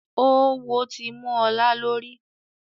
Oówo tí mú ọlá lórí